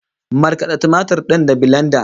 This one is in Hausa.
Markada tumatir din da bilenda